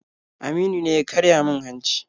Aminu ne ya karya min hanci.